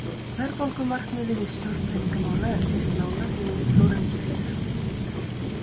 Verðbólgumarkmiði við stjórn peningamála er lýst nánar í Þórarinn G Pétursson.